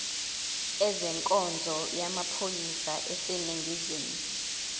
ezenkonzo yamaphoyisa aseningizimu